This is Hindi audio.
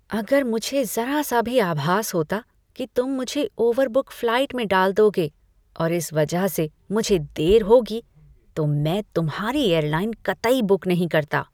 अगर मुझे ज़रा सा भी आभास होता कि तुम मुझे ओवरबुक फ्लाइट में डाल दोगे और इस वजह से मुझे देर होगी, तो मैं तुम्हारी एयरलाइन कतई बुक नहीं कराता।